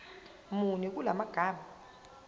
muni kula magama